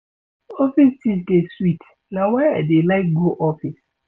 Office gist dey sweet na why I dey like go office.